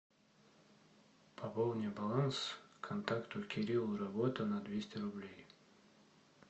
пополни баланс контакту кирилл работа на двести рублей